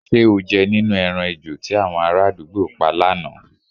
S̩e o je̩ nínú e̩ran ejò tí àwo̩n aráàdúgbò pa lánàá?